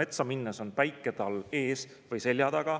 metsa minnes on päike tal ees või selja taga.